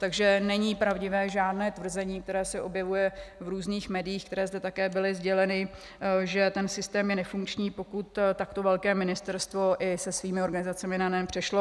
Takže není pravdivé žádné tvrzení, které se objevuje v různých médiích, které zde také bylo sděleno, že ten systém je nefunkční, pokud takto velké Ministerstvo i se svými organizacemi na NEN přešlo.